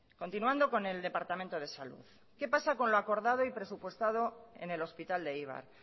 continuando con el departamento de salud qué pasa con lo acordado y presupuestado en el hospital de eibar